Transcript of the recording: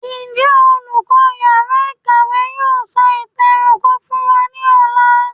Njẹ olùkọ iyàrá ìkàwé yóò sọ ìtàn ẹranko fún wá ní Ọlà?